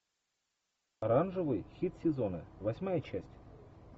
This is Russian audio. оранжевый хит сезона восьмая часть